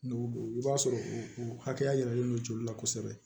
N'o do i b'a sɔrɔ o hakɛya yiralen don joli la kosɛbɛ